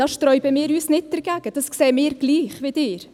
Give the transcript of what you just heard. Wir sträuben uns nicht dagegen, dies sehen wir gleich wie Sie.